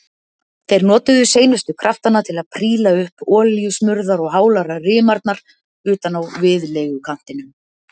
Þeir notuðu seinustu kraftana til að príla upp olíusmurðar og hálar rimarnar utan á viðlegukantinum.